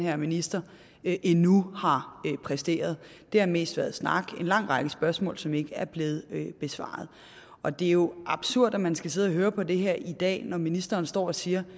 her minister endnu har præsteret det har mest været snak og en lang række spørgsmål som ikke er blevet besvaret og det er jo absurd at man skal sidde og høre på det her i dag når ministeren står og siger